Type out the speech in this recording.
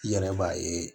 I yɛrɛ b'a ye